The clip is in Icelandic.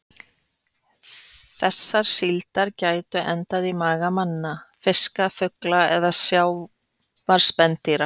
Þessar síldar gætu endað í maga manna, fiska, fugla eða sjávarspendýra.